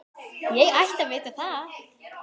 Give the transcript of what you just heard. Ég ætti að vita það.